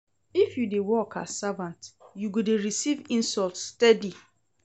If you dey work as servant, you go dey receive insult steady.